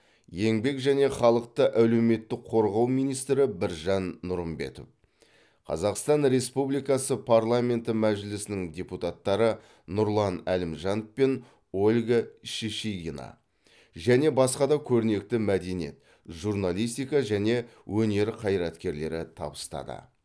еңбек және халықты әлеуметтік қорғау министрі біржан нұрымбетов қазақстан республикасы парламенті мәжілісінің депутаттары нұрлан әлімжанов пен ольга шишигина және басқа да көрнекті мәдениет журналистика және өнер қайраткерлері табыстады